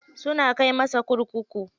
Suna kai masa kurkuku.